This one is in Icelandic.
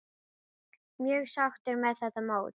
Mjög sáttur með þetta mót.